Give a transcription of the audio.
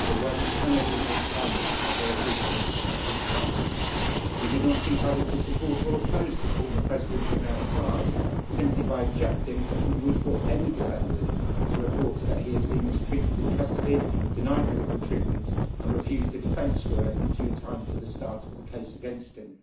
But where we cannot remain silent is where there are breaches of human rights. We did not seek either to support or oppose the former President from outside, simply by objecting as we would for any defendant to reports that he is being mistreated in custody, denied medical treatment and refused a defence lawyer in due time for the start of the case against him.